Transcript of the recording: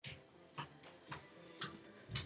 Erla Hlynsdóttir: Úff, þetta hefur ekki verið þægilegt?